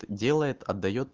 делает отдаёт